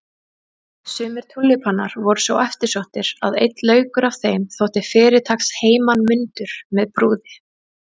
Sumir túlípanar voru svo eftirsóttir að einn laukur af þeim þótti fyrirtaks heimanmundur með brúði.